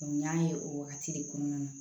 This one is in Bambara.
n y'a ye o wagati de kɔnɔna na